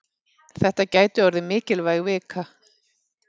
Þetta gæti orðið mikilvæg vika.